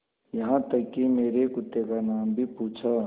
यहाँ तक कि मेरे कुत्ते का नाम भी पूछा